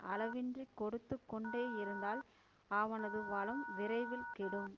அளவின்றிக் கொடுத்து கொண்டேயிருந்தால் அவனது வளம் விரைவில் கெடும்